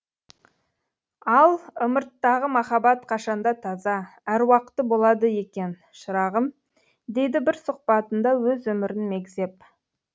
ал ымырттағы махаббат қашанда таза әруақты болады екен шырағым дейді бір сұхбатында өз өмірін мегзеп